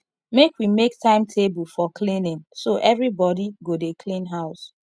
make we make timetable for cleaning so everybodi go dey clean house